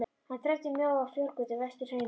Hann þræddi mjóa fjárgötu vestur hraunið.